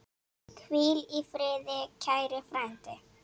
Hvíl í friði, kæri frændi.